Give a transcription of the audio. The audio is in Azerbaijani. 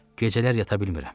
Gecələr yata bilmirəm.